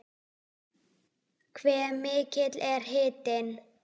Hve mikill er hitinn?